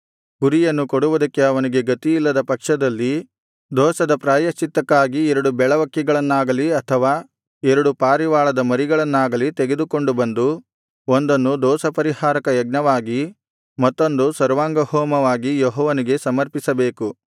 ಕುರಿಯನ್ನು ಕೊಡುವುದಕ್ಕೆ ಅವನಿಗೆ ಗತಿಯಿಲ್ಲದ ಪಕ್ಷದಲ್ಲಿ ದೋಷದ ಪ್ರಾಯಶ್ಚಿತ್ತಕ್ಕಾಗಿ ಎರಡು ಬೆಳವಕ್ಕಿಗಳನ್ನಾಗಲಿ ಅಥವಾ ಎರಡು ಪಾರಿವಾಳದ ಮರಿಗಳನ್ನಾಗಲಿ ತೆಗೆದುಕೊಂಡು ಬಂದು ಒಂದನ್ನು ದೋಷಪರಿಹಾರಕ ಯಜ್ಞವಾಗಿ ಮತ್ತೊಂದನ್ನು ಸರ್ವಾಂಗಹೋಮವಾಗಿ ಯೆಹೋವನಿಗೆ ಸಮರ್ಪಿಸಬೇಕು